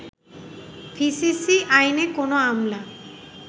DCC আইনে কোনো আমলা